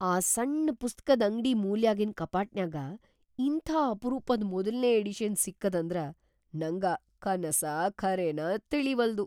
ಆ ಸಣ್‌ ಪುಸ್ತಕ್ದ್‌ ಅಂಗ್ಡಿ ಮೂಲ್ಯಾಗಿನ್‌ ಕಪಾಟನ್ಯಾಗ ಇಂಥಾ ಅಪರೂಪದ್‌ ಮೊದಲ್ನೇ ಎಡಿಷನ್‌ ಸಿಕ್ಕದಂದ್ರ ನಂಗ ಕನಸಾ ಖರೇನಾ ತಿಳೀವಲ್ದು.